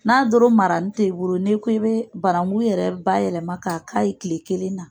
N'a doron mara n te i bolo n'e ko i bee baranku yɛrɛ bayɛlɛma k'a k'a ye tile kelen na